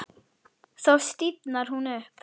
Þá stífnar hún upp.